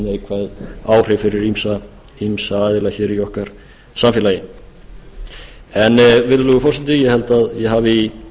neikvæð áhrif fyrir ýmsa aðila í okkar samfélagi virðulegi forseti ég held að ég hafi í